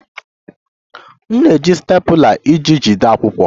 M na-eji stapler iji jide akwụkwọ